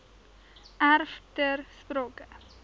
erf ter sprake